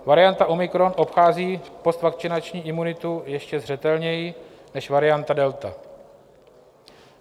Varianta omikron obchází postvakcinační imunitu ještě zřetelněji než varianta delta.